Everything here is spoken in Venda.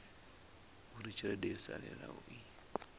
uri tshelede yo salelaho i